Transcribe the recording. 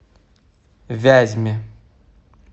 вязьме